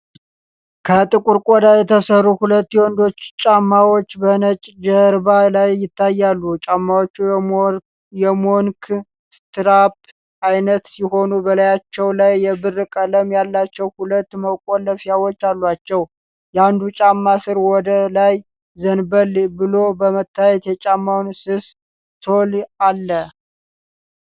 ከጥቁር ቆዳ የተሠሩ ሁለት የወንዶች ጫማዎች በነጭ ጀርባ ላይ ይታያሉ። ጫማዎቹ የሞንክ ስትራፕ ዓይነት ሲሆኑ፣ በላያቸው ላይ የብር ቀለም ያላቸው ሁለት መቆለፊያዎች አሏቸው። የአንዱ ጫማ ስር ወደ ላይ ዘንበል ብሎ በመታየት የጫማውን ስስ ሶል አለ።